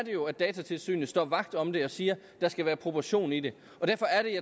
jo at datatilsynet står vagt om det og siger at der skal være proportion i det og derfor er